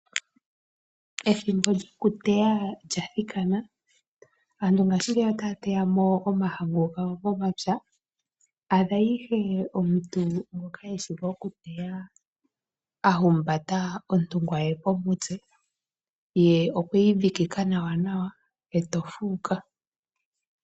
Ethimbo lyokuteya lyathikana aantu ngaashingeyi otaya teya mo omahangu gawo momapya. Adha ihe omuntu ngoka eshi okuteya a humbata ontungwa ye komutse ye okweyi dhikika nawanawa eto fuuka